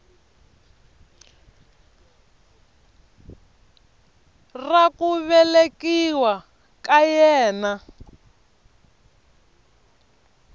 ra ku velekiwa ka yena